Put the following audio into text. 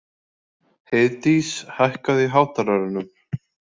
Heiðdís, hækkaðu í hátalaranum.